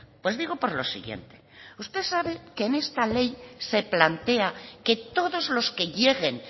pues digo por lo siguiente usted sabe que en esta ley se plantea que todos los que lleguen